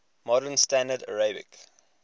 modern standard arabic